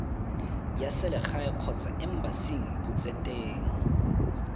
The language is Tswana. ya selegae kgotsa embasing botseteng